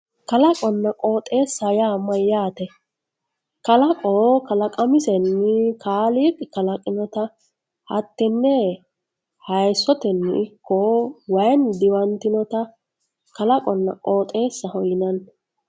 kalaqona qooxeesaho yaa mayaate kalaqo kkalaqamisenni kaaliiqi kaliqinota hattenne yaayiisotenni ikko waayiinni diwanttinnota kalaqonna qooxeesaho yinanni